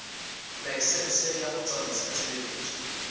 laesense ya ho tsamaisa tshebeletso